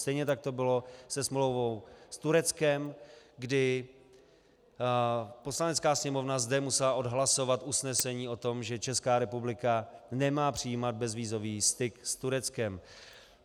Stejně tak to bylo se smlouvou s Tureckem, kdy Poslanecká sněmovna zde musela odhlasovat usnesení o tom, že Česká republika nemá přijímat bezvízový styk s Tureckem.